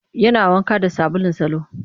Yana wanka da sabulun salo